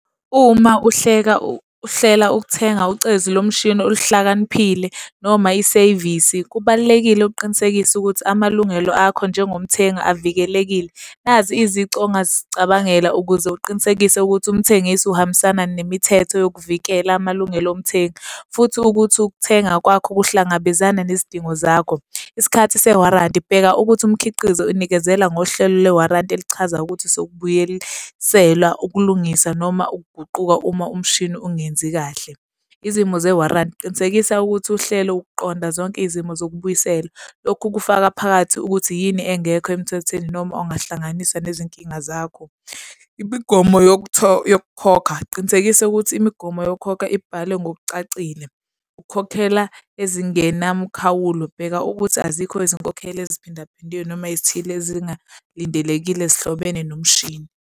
Uma uhleka uhlela ukuthenga ucezu lomshini oluhlakaniphile noma isevisi, kubalulekile ukuqinisekisa ukuthi amalungelo akho njengomthengi avikelekile. Nazi izici ongazicabangela ukuze uqinisekise ukuthi umthengisi uhambisana nemithetho yokuvikela amalungelo omthengi futhi ukuthi ukuthenga kwakho kuhlangabezana nezidingo zakho. Isikhathi se-warranty. Bheka ukuthi umkhiqizo inikezela ngohlelo le-warranty elichaza ukuthi sokubuyelisela, ukulungisa noma ukuguquka uma umshini ungenzi kahle. Izimo ze-warranty. Qinisekisa ukuthi uhlelo uqonda zonke izimo zokubuyisela. Lokhu kufaka phakathi ukuthi yini engekho emthethweni, noma ongahlanganisa nezinkinga zakho. Imigomo yokukhokha. Qinisekisa ukuthi imigomo yokukhokha ibhalwe ngokucacile. Ukukhokhela ezingenamkhawulo. Bheka ukuthi azikho izinkokhelo eziphindaphindiwe noma ezithile ezingalindelekile ezihlobene nomshini.